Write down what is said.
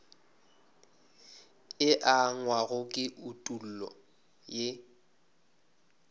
e angwago ke etulo ye